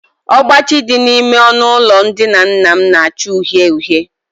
Ọgbachi dị n'ime ọnụụlọ ndina nna m na-acha uhie uhie